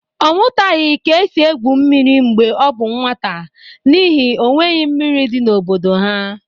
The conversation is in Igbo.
Ọ mụtaghị ka esi egwu mmiri mgbe ọ bụ nwata n'ihi n'onweghị mmiri dị n'obodo ha.